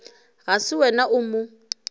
ga se wena o mo